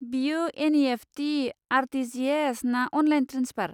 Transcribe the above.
बेयो NEFT., RTGS, ना online transfer?